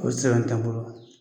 A be se ka n